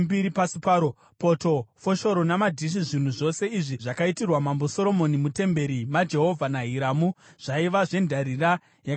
poto, foshoro namadhishi. Zvinhu zvose izvi zvakaitirwa Mambo Soromoni mutemberi maJehovha naHiramu zvaiva zvendarira yakabwinyiswa.